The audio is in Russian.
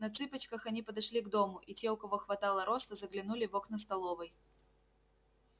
на цыпочках они подошли к дому и те у кого хватало роста заглянули в окна столовой